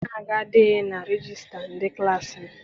Aha m adịghị na regista ndị klassi m.